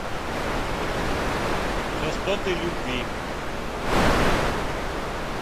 частоты любви